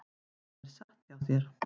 Það er satt hjá þér.